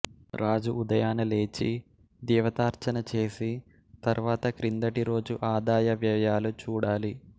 రాజు ఉదయాన లేచి దేవతార్చన చేసి తరువాత క్రిందటి రోజు ఆదాయవ్యయాలు చూడాలి